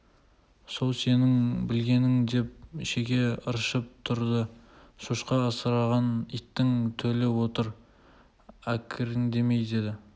сол сенің білгенін деп шеге ыршып тұрды шошқа асыраған иттің төлі отыр әкірендемей деді